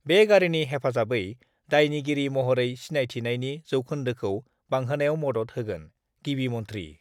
बे गारिनि हेफाजाबै दायनिगिरि महरै सिनायथिनायनि जौखोन्दोखौ बांहोनायाव मदत होगोन: गिबि मन्थ्रि